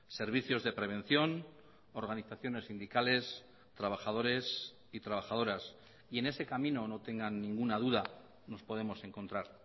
servicios de prevención organizaciones sindicales trabajadores y trabajadoras y en ese camino no tengan ninguna duda nos podemos encontrar